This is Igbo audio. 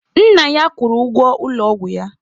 Nna ya kwụrụ ụgwọ ụlọ ọgwụ ya.